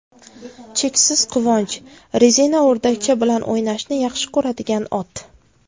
Cheksiz quvonch: Rezina o‘rdakcha bilan o‘ynashni yaxshi ko‘radigan ot .